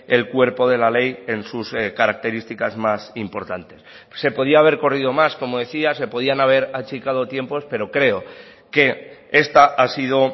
el cuerpo de la ley en sus características más importantes se podía haber corrido más como decía se podían haber achicado tiempos pero creo que esta ha sido